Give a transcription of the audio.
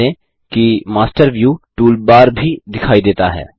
ध्यान दें कि मास्टर व्यू टूलबार भी दिखाई देंता है